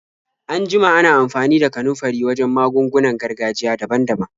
An jima ana amfani da kanunfari wajen magungunan gargajiya daban-daban.